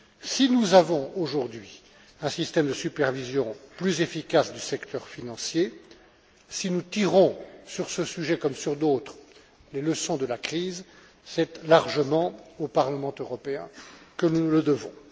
Si nous avons aujourd'hui un système de supervision plus efficace du secteur financier, si nous tirons, sur ce sujet comme sur d'autres, les leçons de la crise, c'est largement au Parlement européen que nous le devons.